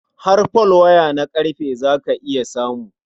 Har folwaya na ƙarfe za ka iya samu.